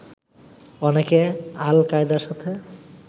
অনেকে আল কায়দার সাথে